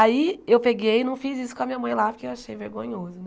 Aí eu peguei e não fiz isso com a minha mãe lá porque eu achei vergonhoso.